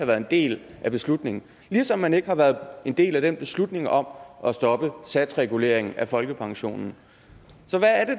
været en del af beslutningen ligesom man ikke har været en del af den beslutning om at stoppe satsreguleringen af folkepensionen så